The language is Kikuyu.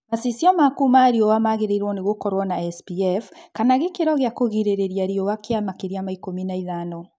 Macicio maku ma riũa magĩrĩirwo nĩ gũkorwo na SPF kana gĩkĩro gĩa kũrigĩrĩria riũa kia makĩria ma ikũmi na ithano